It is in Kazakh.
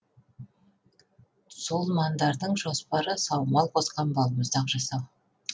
цоллмандардың жоспары саумал қосқан балмұздақ жасау